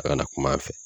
A kana kuma an fɛ